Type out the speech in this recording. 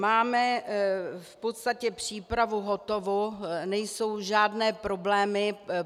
Máme v podstatě přípravu hotovu, nejsou žádné problémy.